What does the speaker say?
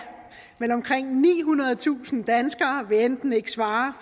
men omkring nihundredetusind danskere vil enten ikke svare